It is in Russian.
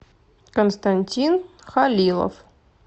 константин халилов